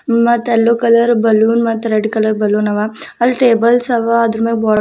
ಮತ್ತೆ yellow colour balloon ಮತ್ತ್ red colour ಬಲೂನವ ಅಲ್ ಟೇಬಲ್ಸ್ ಅವ ಮೇಲೆ --